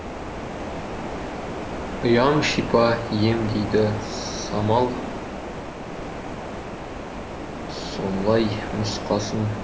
ұям шипа ем дейді самал солай нұсқасын